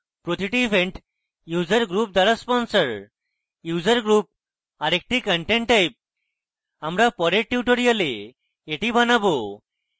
প্রতিটি event user group দ্বারা sponsored user group আরেকটি content type আমরা পরের tutorial এটি বানাবো